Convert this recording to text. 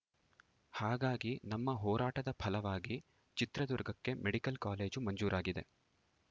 ಹಾಗಾಗಿ ನಮ್ಮ ಹೋರಾಟದ ಫಲವಾಗಿ ಚಿತ್ರದುರ್ಗಕ್ಕೆ ಮೆಡಿಕಲ್‌ ಕಾಲೇಜು ಮಂಜೂರಾಗಿದೆ